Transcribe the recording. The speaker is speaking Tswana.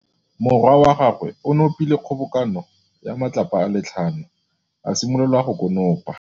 Morwa wa gagwe o nopile kgobokanô ya matlapa a le tlhano, a simolola go konopa.